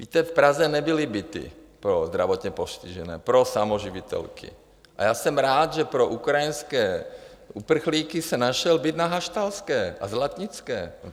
Víte, v Praze nebyly byty pro zdravotně postižené, pro samoživitelky, a já jsem rád, že pro ukrajinské uprchlíky se našel byt na Haštalské a Zlatnické.